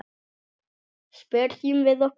Spyrjum við okkur.